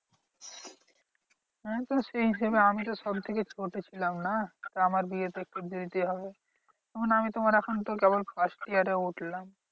আমিতো সেই হিসেবে আমিতো সবথেকে ছোট ছিলাম না? আমার বিয়ে তো একটু দেরি তে হবে। আমি তো তোমার এখন তো কেবল first year এ উঠলাম।